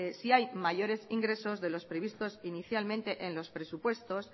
si hay mayores ingresos de los previstos inicialmente en los presupuestos